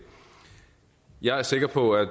jeg er sikker på at